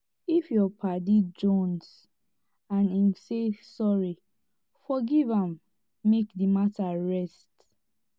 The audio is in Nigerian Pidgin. if yur paddy jonze and em say sorry forgiv am mek di mata rest